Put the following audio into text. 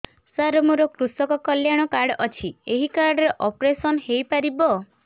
ସାର ମୋର କୃଷକ କଲ୍ୟାଣ କାର୍ଡ ଅଛି ଏହି କାର୍ଡ ରେ ଅପେରସନ ହେଇପାରିବ